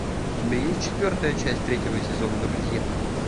у тебя есть четвертая часть третьего сезона друзья